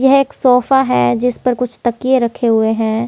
यह एक सोफा है जिस पर कुछ तकिए रखे हुए हैं।